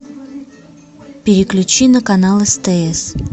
переключи на канал стс